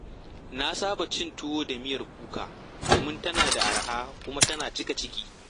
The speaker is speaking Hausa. Na saba cin tuwo da miyar kuka domin tana da araha kuma tana cika ciki.